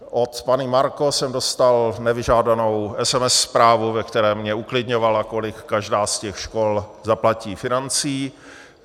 Od paní Marco jsem dostal nevyžádanou SMS zprávu, ve které mě uklidňovala, kolik každá z těch škol zaplatí financí.